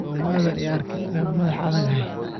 Somadhan iiarkin ina madhax adagyahy.